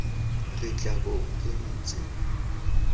re tla bong re ntse